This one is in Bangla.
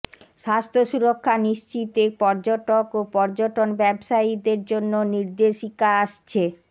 স্বাস্থ্য সুরক্ষা নিশ্চিতে পর্যটক ও পর্যটন ব্যবসায়ীদের জন্য নির্দেশিকা আসছে